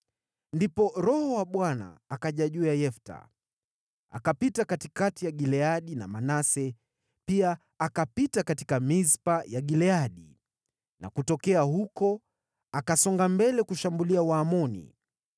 Ndipo Roho wa Bwana akaja juu ya Yefta. Akapita katikati ya Gileadi na Manase, pia akapita katika Mispa ya Gileadi, na kutokea huko akasonga mbele kushambulia Waamoni.